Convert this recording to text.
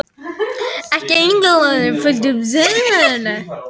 Ekki einungis var gróðurfarið ólíkt heldur einnig veðurfar og fæðuframboð.